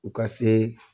U ka se